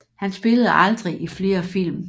Han spillede aldrig i flere film